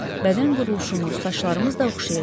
Bədən quruluşumuz, saçlarımız da oxşayırdı.